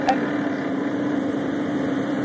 Ölver